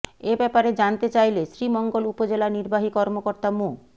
এ ব্যাপারে জানতে চাইলে শ্রীমঙ্গল উপজেলা নির্বাহী কর্মকর্তা মো